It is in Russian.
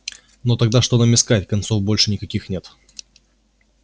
но тогда что нам искать концов больше никаких нет